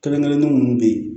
Kelen kelennin munnu be yen